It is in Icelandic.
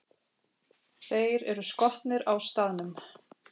Þeir eru skotnir á staðnum!